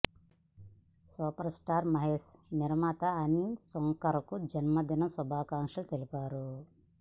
super star Mahesh నిర్మాత అనిల్ సుంకర కు జన్మదిన శుభాకాంక్షలు తెలిపారు